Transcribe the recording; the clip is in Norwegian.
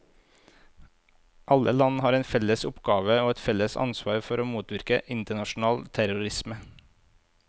Alle land har en felles oppgave og et felles ansvar for å motvirke internasjonal terrorisme.